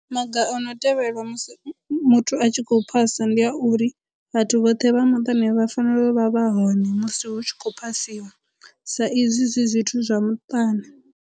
Maga o no tevhelwa musi muthu a tshi khou phasa ndi a uri vhathu vhoṱhe vha muṱani vha fanela u vha vha hone musi hu tshi khou phasiwa sa izwi zwi zwithu zwa muṱani.